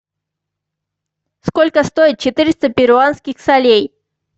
сколько стоит четыреста перуанских солей